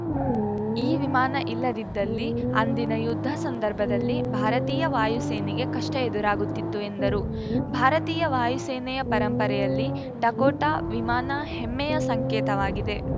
ಈ ವಿಮಾನ ಇಲ್ಲದಿದ್ದಲ್ಲಿ ಅಂದಿನ ಯುದ್ಧ ಸಂದರ್ಭದಲ್ಲಿ ಭಾರತೀಯ ವಾಯು ಸೇನೆಗೆ ಕಷ್ಟಎದುರಾಗುತ್ತಿತ್ತು ಎಂದರು ಭಾರತೀಯ ವಾಯು ಸೇನೆಯ ಪರಂಪರೆಯಲ್ಲಿ ಡಕೋಟಾ ವಿಮಾನ ಹೆಮ್ಮೆಯ ಸಂಕೇತವಾಗಿದೆ